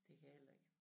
Det kan jeg heller ikke